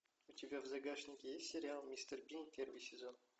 у тебя в загашнике есть сериал мистер бин первый сезон